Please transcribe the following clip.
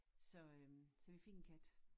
Så øh så vi fik en kat